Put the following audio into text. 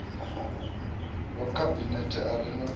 wa khabinethe a re na